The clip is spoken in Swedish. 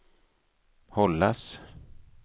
hållas